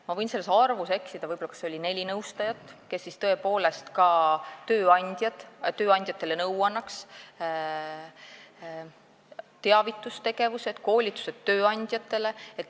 Ma võin selles arvus eksida, võib-olla on neli nõustajat, kes tõepoolest ka tööandjatele nõu annavad, on teavitustegevus ja koolitused tööandjatele.